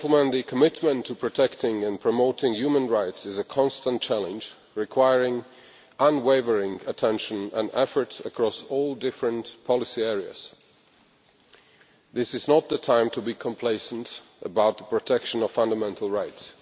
The commitment to protecting and promoting human rights is a constant challenge, requiring unwavering attention and effort across the full range of policy areas. This is not the time to be complacent about the protection of fundamental rights.